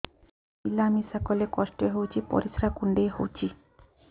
ମିଳା ମିଶା କଲେ କଷ୍ଟ ହେଉଚି ପରିସ୍ରା କୁଣ୍ଡେଇ ହଉଚି